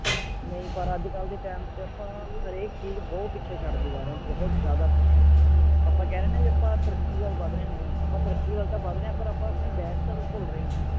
ਨਹੀਂ ਪਰ ਅੱਜ ਕੱਲ ਦੇ time ਚ ਆਪਾਂ ਹਰ ਇਕ ਚੀਜ਼ ਬਹੁਤ ਪਿੱਛੇ ਛੱਡਦੇ ਜਾ ਰਹੇ ਹਾਂ ਬਹੁਤ ਜ਼ਿਆਦਾ ਪਿੱਛੇ ਆਪਾਂ ਕਹਿ ਰਹੇ ਹੈ ਨਾ ਆਪਾਂ ਤਰੱਕੀ ਵੱਲ ਵਧ ਰਹੇ ਹਾਂ ਨਹੀਂ ਆਪਾਂ ਤਰੱਕੀ ਵੱਲ ਤੇ ਵੱਧ ਰਹੇ ਹਾਂ ਪਰ ਆਪਾਂ ਆਪਣੇ back ਕਰ ਨੂੰ ਭੁੱਲ ਰਹੇ ਹਾਂ